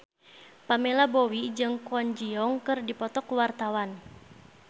Pamela Bowie jeung Kwon Ji Yong keur dipoto ku wartawan